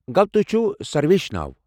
گوٚو تُہۍ چُھو سرویش ناو۔